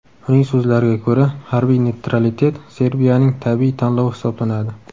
Uning so‘zlariga ko‘ra, harbiy neytralitet Serbiyaning tabiiy tanlovi hisoblanadi.